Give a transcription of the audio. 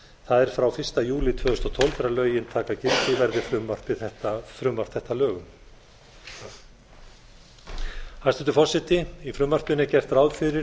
það er frá fyrsta júlí tvö þúsund og tólf þegar lögin taka gildi verði frumvarp þetta að lögum hæstvirtur forseti í frumvarpinu er ert ráð fyrir